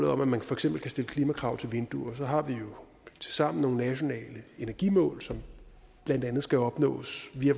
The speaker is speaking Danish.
om at man for eksempel kan stille klimakrav til vinduer så har vi jo tilsammen nogle nationale energimål som blandt andet skal opnås via